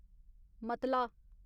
मतला